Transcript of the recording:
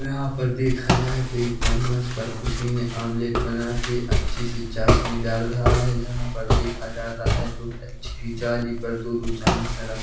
यहाँ पर देखा जाये तो एक चम्मच पर किसी ने आमलेट बना के अच्छी सी चासनी डाल रहा है यहाँ पर देखा जाता है तो अच्छी सी जाली पर दो-दो चमच्च र--